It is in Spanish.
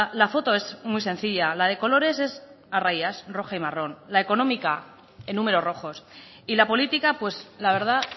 la foto es muy sencilla la de colores es a rayas roja y marrón la económica en números rojos y la política pues la verdad